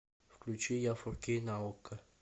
включи я фор кей на окко